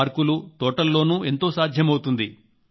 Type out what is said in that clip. పార్కులు తోటల్లోనూ ఎంతో సాధ్యమవుతుంది